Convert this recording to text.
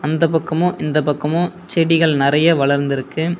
அந்த பக்கமு இந்த பக்கமு செடிகள் நெறைய வளர்ந்துருக்கு.